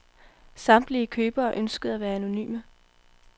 Samtlige købere ønskede at være anonyme.